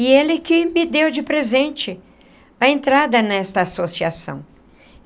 E ele que me deu de presente a entrada nesta associação.